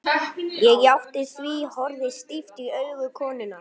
Ég játti því, horfði stíft í augu konunnar.